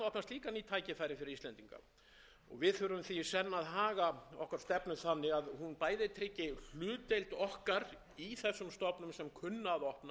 fyrir íslendinga við þurfum því í senn að haga okkar stefnu þannig að hún bæði tryggi hlutdeild okkar í þessum stofnum sem kunna að